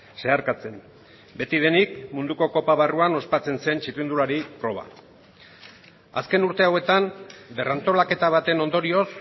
zeharkatzen beti denik munduko kopa barruan ospatzen zen txirrindulari proba azken urte hauetan berrantolaketa baten ondorioz